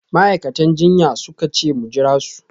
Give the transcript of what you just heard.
Ma’aikatan jinya suka ce mu jira su